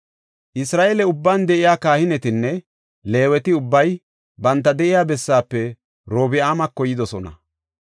Isra7eele ubban de7iya kahinetinne Leeweti ubbay banta de7iya bessaafe Orobi7aamako yidosona.